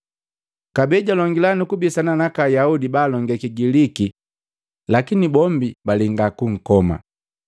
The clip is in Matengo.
Kabee jalongi nukubisana naka Ayaudi baalonge Kigiliki, lakini bombi balenga kunkoma.